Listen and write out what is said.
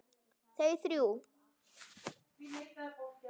Þau þrjú.